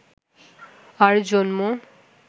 তার জন্ম